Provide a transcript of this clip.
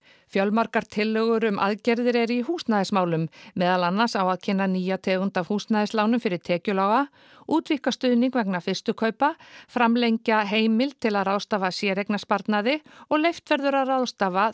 fjölmargar tillögur um aðgerðir eru í húsnæðismálum meðal annars á að kynna nýja tegund af húsnæðislánum fyrir tekjulága útvíkka stuðning vegna fyrstu kaupa framlengja heimild til að ráðstafa séreignarsparnaði og leyft verður að ráðstafa